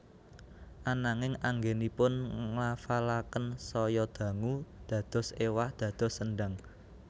Ananging anggènipun nglafalaken saya dangu dados éwah dados sendang